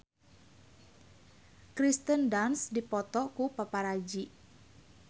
Kirsten Dunst dipoto ku paparazi